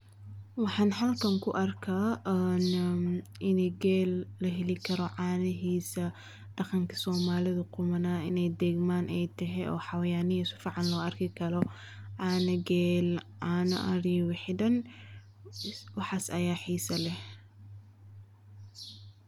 Waxaan halkan ku arkaa in geel laheli karo caanihiisa, daqanka somalida qumanaa inaay deegan tahay oo xabayanihi sifican loo arki Karo, cana geel caana ari wixi dan waxaas ayaa xiisa leh.